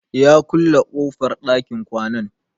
Ya ƙulle kofar ɗakin kwanan.